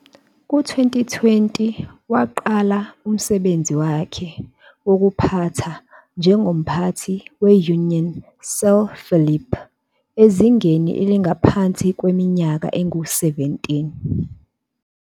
Ku-2020, waqala umsebenzi wakhe wokuphatha njengomphathi we-Unión San Felipe ezingeni elingaphansi kweminyaka engu-17.